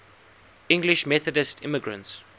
english methodist immigrants